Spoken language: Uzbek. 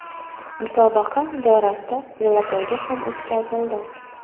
Musobaqa doirasida velopoyga ham o‘tkazildi.